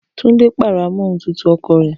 Tunde pàrọ̀ amóhuntutù ọkọ̀ rẹ̀